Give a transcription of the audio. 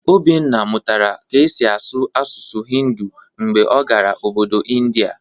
Obinna mụtara ka e si asụ asụsụ Hindu mgbe ọ gara Obodo India